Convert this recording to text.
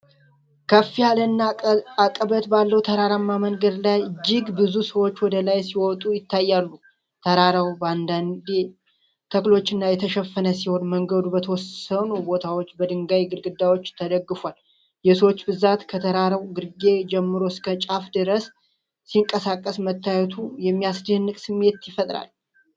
ከፍ ያለና አቀበት ባለው ተራራማ መንገድ ላይ፣ እጅግ ብዙ ሰዎች ወደ ላይ ሲወጡ ይታያሉ። ተራራው በአረንጓዴ ተክሎች የተሸፈነ ሲሆን፣ መንገዱ በተወሰኑ ቦታዎች በድንጋይ ግድግዳዎች ተደግፏል። የሰዎች ብዛት ከተራራው ግርጌ ጀምሮ እስከ ጫፍ ድረስ ሲንቀሳቀስ መታየቱ የሚያስደንቅ ስሜት ይፈጥራል።